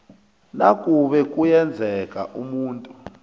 nakube kuyenzeka umuntu